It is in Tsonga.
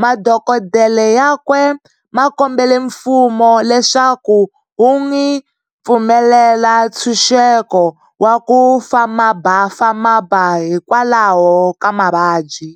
Madokodela yakwe makombele mfumo leswaku wun'wi pfumelela ntshuxeko wa ku famabafamaba hikwalaho ka mavabyi.